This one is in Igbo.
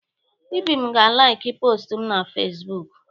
Ibim ga-alaiki postụ m na Fezbụk.